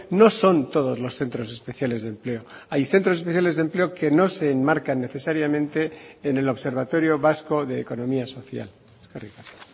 no son todos los centros especiales de empleo hay centros especiales de empleo que no se enmarcan necesariamente en el observatorio vasco de economía social eskerrik asko